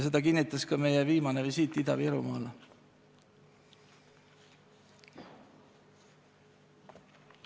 Seda kinnitas ka meie viimane visiit Ida-Virumaale.